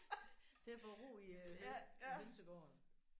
Til at få ro i øh i hønsegården